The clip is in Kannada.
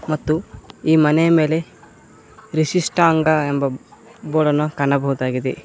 ಮತ್ತು ಈ ಮನೆ ಮೇಲೆ ರಿಜಿಷ್ಟಾಂಗ ಎಂಬ ಬೋರ್ಡ ನ್ನು ಕಾಣಬಹುದಾಗಿದೆ.